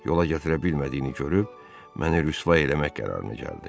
Yola gətirə bilmədiyini görüb məni rüsva eləmək qərarına gəldi.